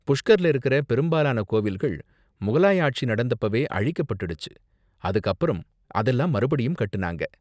புஷ்கர்ல இருக்கற பெரும்பாலான கோவில்கள் முகலாய ஆட்சி நடந்தப்பவே அழிக்கப்பட்டுடுச்சு, அதுக்கு அப்பறம் அதெல்லாம் மறுபடியும் கட்டுனாங்க.